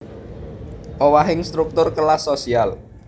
Owahing struktur kelas sosial